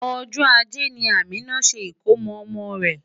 Ọjọ́ ajé ni Amina ṣe ìkómo ọmọ rẹ̀.